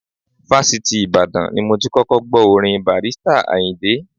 Fásitì Ìbàdàn ni mo ti kọ́kọ́ gbọ́ orin Barrister Àyìndé.